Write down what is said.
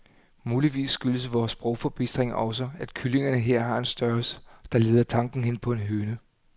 Muligvis skyldes vor sprogforbistring også, at kyllingerne her har en størrelse, der leder tanken hen på en høne.